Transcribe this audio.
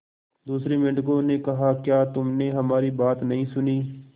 दूसरे मेंढकों ने कहा क्या तुमने हमारी बात नहीं सुनी